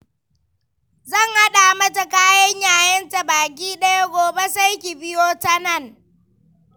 Zan haɗa mata kayan yayenta baki ɗaya, gobe sai ki biyo ta nan.